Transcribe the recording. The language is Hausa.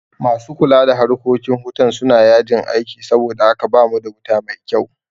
Masu kula da harkokin hutan suna yajin aiki saboda haka bamu da wuta mai kyau